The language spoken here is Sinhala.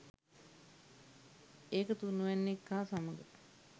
ඒක තුන්වැන්නෙක් හා සමග